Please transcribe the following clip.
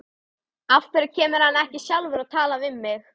Af hverju kemur hann ekki sjálfur og talar við mig?